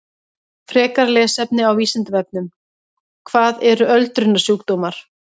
Frekara lesefni á Vísindavefnum: Hvað eru öldrunarsjúkdómar?